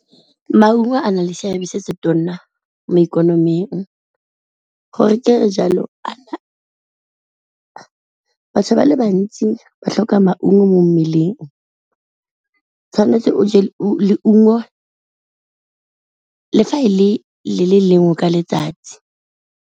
Maungo a na le seabe se se tona mo ikonoming gore kere jalo, batho ba le bantsi ba tlhoka maungo mo mmeleng tshwanetse o je leungo le fa e le le lengwe ka letsatsi.